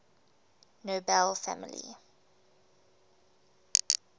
nobel family